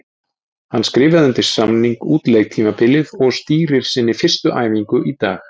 Hann skrifaði undir samning út leiktímabilið og stýrir sinni fyrstu æfingu í dag.